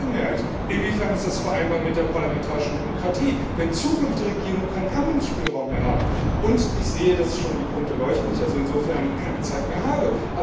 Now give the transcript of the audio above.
B. die Zweidrittelmehrheit Inwieweit ist es vereinbar mit der parlamentarischen Demokratie, wenn zukünftige Regierungen keinen Handlungsspielraum mehr haben?